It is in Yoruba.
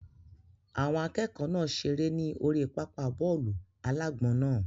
Àwọn akẹ́kọ̀ọ́ náà seré ní orí pápá bọ́ọ̀lù-alágbọ̀n náà